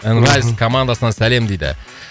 нрайс командасынан сәлем дейді